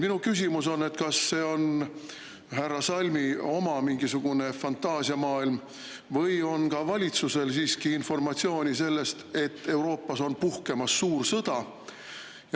Minu küsimus on, kas see on härra Salmi mingisugune oma fantaasiamaailm või on ka valitsusel siiski informatsiooni selle kohta, et Euroopas on puhkemas suur sõda.